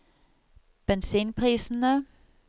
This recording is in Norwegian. bensinprisene